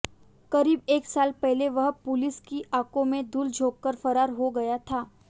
करीब एक साल पहले वह पुलिस की आंखों में धूल झोंककर फरार हो गया था